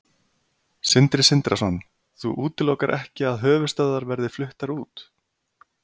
Sindri Sindrason: Þú útilokar ekki að höfuðstöðvar verði fluttar út?